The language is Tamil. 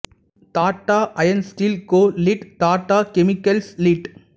tata iron steel co Ltd Tata chemicals lid